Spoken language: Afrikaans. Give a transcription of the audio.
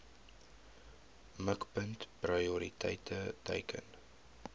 mikpunt prioriteit teiken